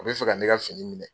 U bɛ fɛ ka ne ka fini minɛ